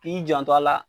K'i janto a la